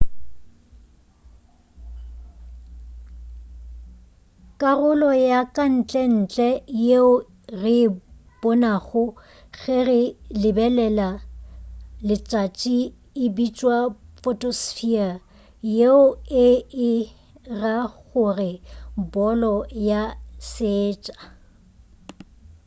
karolo ya kantlentle yeo re e bonago ge re lebelela letšatši e bitšwa photosphere yeo e e ra gore bolo ya seetša